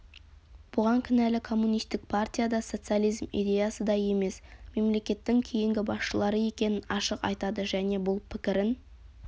бұған кінәлі коммунистік партия да социализм идеясы да емес мемлекетінің кейінгі басшылары екенін ашық айтады және бұл пікірін